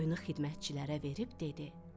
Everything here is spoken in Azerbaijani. Qoyunu xidmətçilərə verib dedi: